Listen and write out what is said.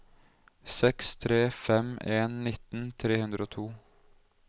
seks tre fem en nitten tre hundre og to